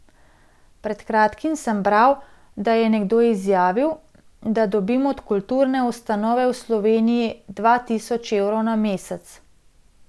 Pred kratkim sem bral, da je nekdo izjavil, da dobim od kulturne ustanove v Sloveniji dva tisoč evrov na mesec.